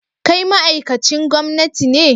Kai ma'aikacin gwamnati ne?